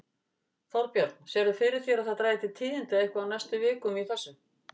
Þorbjörn: Sérðu fyrir þér að það dragi til tíðinda eitthvað á næstu vikum í þessu?